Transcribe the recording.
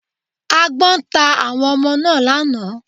Agbón ta àwọn Ọmọ náà lánàá